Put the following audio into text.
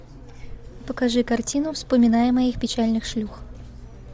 покажи картину вспоминая моих печальных шлюх